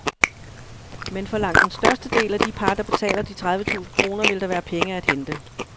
Men for langt den største del af de par, der betaler de tredive tusinde kroner, vil der være penge at hente.